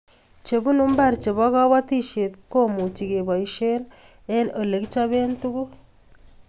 chebunu mbar chebo kabatishiet komuchi kebaishen eng' ole kichaben tuguk